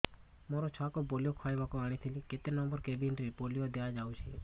ମୋର ଛୁଆକୁ ପୋଲିଓ ଖୁଆଇବାକୁ ଆଣିଥିଲି କେତେ ନମ୍ବର କେବିନ ରେ ପୋଲିଓ ଦିଆଯାଉଛି